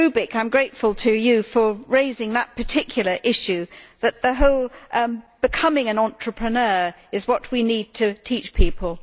I am grateful to Mr Rübig for raising that particular issue that the whole matter of becoming an entrepreneur is what we need to teach people.